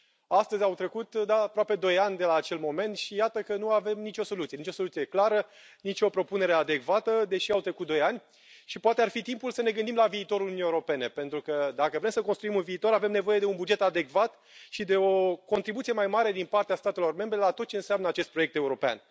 Astăzi au trecut aproape doi ani de la acel moment și iată că nu avem nicio soluție, nicio soluție clară, nicio propunere adecvată deși au trecut doi ani și poate ar fi timpul să ne gândim la viitorul Uniunii Europene, pentru că, dacă vrem să construim un viitor, avem nevoie de un buget adecvat și de o contribuție mai mare din partea statelor membre la tot ce înseamnă acest proiect european.